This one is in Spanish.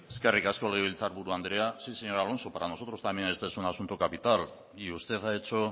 eskerrik asko legebiltzar buru andrea sí señor alonso para nosotros también ese es un asunto capital y usted ha hecho